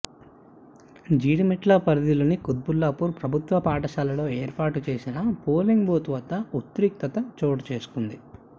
జీడిమెట్ల పరిధిలోని కుత్బుల్లాపూర్ ప్రభుత్వ పాఠశాలలో ఏర్పాటుచేసిన పోలింగ్ బూత్ వద్ద ఉద్రిక్తత చోటుచేసుకుంది